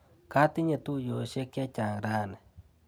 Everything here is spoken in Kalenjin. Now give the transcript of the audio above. Katinye tuiyosiek chechang rani.